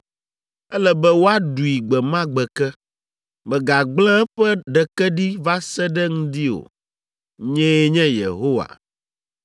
Ele be woaɖui gbe ma gbe ke; mègagblẽ eƒe ɖeke ɖi va se ɖe ŋdi o. Nyee nye Yehowa.